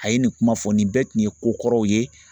A ye nin kuma fɔ nin bɛɛ tun ye ko kɔrɔw ye.